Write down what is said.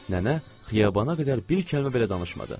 Nənə xiyabana qədər bir kəlmə belə danışmadı.